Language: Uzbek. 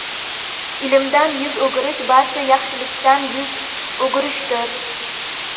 ilmdan yuz o‘girish barcha yaxshilikdan yuz o‘girishdir.